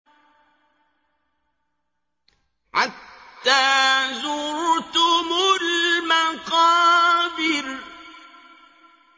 حَتَّىٰ زُرْتُمُ الْمَقَابِرَ